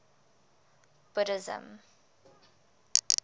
buddhism